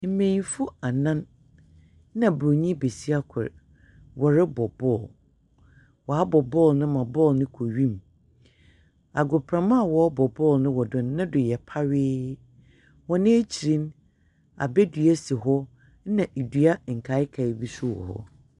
Mbenyimfo anan na Buronyi besia kor wɔrebɔ ball. Wɔabɔ ball no ma ball no kɔ wim. Agoprama wɔ ball wɔ do no, ne do yɛ pawee. Wɔn akyir no, abedua si hɔ. Na ndua nkaekae bi nso wɔ hɔ.